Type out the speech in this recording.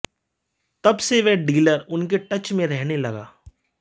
तब से वह डीलर उनके टच में रहने लगा